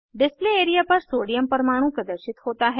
display area पर sodium परमाणु प्रदर्शित होता है